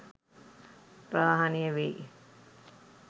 ප්‍රහාණය වෙයි.